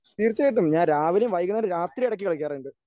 തീർച്ചയായിട്ടും ഞാൻ രാവിലെയും വൈകുന്നേരവും രാത്രിയും ഇടയ്ക്ക് കളിക്കാറുണ്ട്.